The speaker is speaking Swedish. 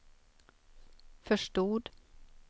förstod